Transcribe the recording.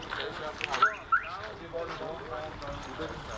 Yəqin yerində qalıb, elə bil ki, boyna zədə dəyib.